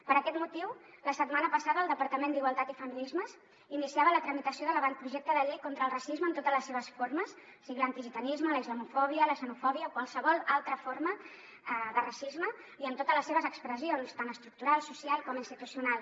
per aquest motiu la setmana passada el departament d’igualtat i feminismes iniciava la tramitació de l’avantprojecte de llei contra el racisme en totes les seves formes sigui l’antigitanisme la islamofòbia la xenofòbia o qualsevol altra forma de racisme i en totes les seves expressions tant estructural social com institucional